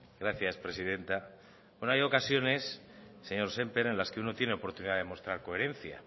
gracias presidenta bueno hay ocasiones señor sémper en las que uno tiene oportunidad de mostrar coherencia